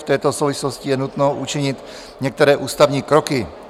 V této souvislosti je nutno učinit některé ústavní kroky.